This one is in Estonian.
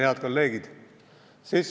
Head kolleegid!